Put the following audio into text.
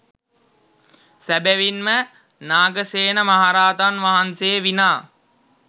සැබැවින් ම නාගසේන මහරහතන් වහන්සේ විනා